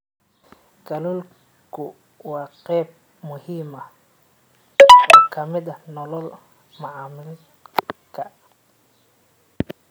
Kalluunku waa qayb muhiim ah oo ka mid ah nolol maalmeedka.